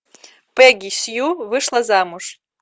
пегги сью вышла замуж